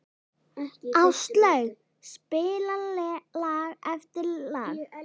Áslaug spilaði lag eftir lag.